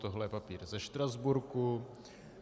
Tohle je papír ze Štrasburku.